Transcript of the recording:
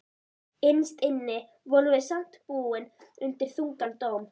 Innst inni vorum við samt búin undir þungan dóm.